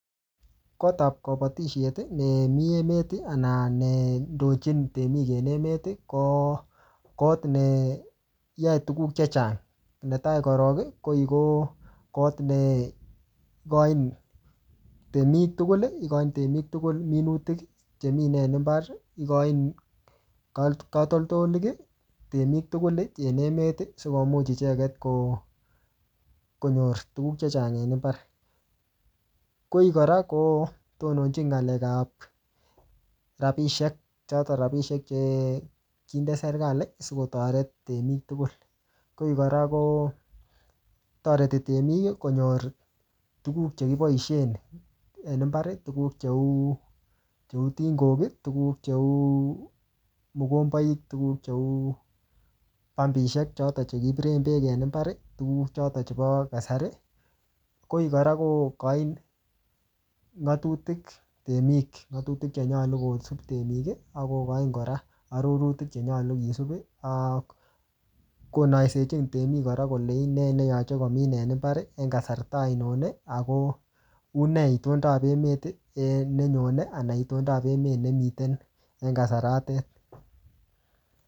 Kot ap kabatisiet, nemii emet, anan nendochin temik en emet, ko kot neyae tuguk chechang. Netai korok, ko koi ko kot ne kochin temik tugul, ikochin temik tugul minutik chemine en mbar, ikochin katol-katoltolik temik tugul en emt, sikomuch icheket ko-konyor tuguk chechang en mbar. Koi kora, kotononchin ng'alek ap rabisiek, chotok rabisiek che kinde serikali, sikotoret temik tugul. Koi kora, kotoreti temik konyor tuguk che kiboisen en mbar, tuguk cheu tingok, tuguk cheu mogomboik, tuguk cheu pampishek chotok che kipiren beek en mbar, tuguk chotok chebo kasari. Koi kora kokochin ng'atutik temik, ng'atutik chenyolu kosup temik, akokochin kora arorotik che nyolu kisup, ak konaisechin temik kora kole inee neyache komin en mbar, en kasarta ainon. Ako unee itondap emet um nenyone, ana itondap emet ne miten en kasaratet